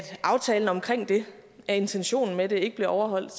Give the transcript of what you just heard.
aftalen omkring det intentionen med det ikke bliver overholdt